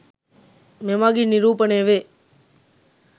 මෙමගින් නිරූපණය වේ.